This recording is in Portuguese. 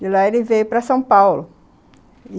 De lá ele veio para São Paulo.